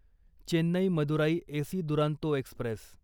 Chennai Madurai AC Duronto Express